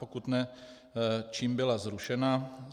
Pokud ne, čím byla zrušena.